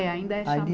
É, ainda é chama